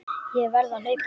Ég verð að hlaupa heim.